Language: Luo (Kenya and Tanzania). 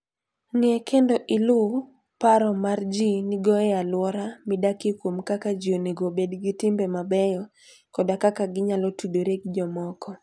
Ng'e kendo iluw paro ma ji nigo e alwora midakie kuom kaka ji onego obed gi timbe mabeyo koda kaka ginyalo tudore gi jomoko.